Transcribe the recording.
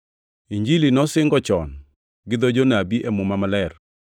Injilini nosingo chon gi dho jonabi e Muma Maler;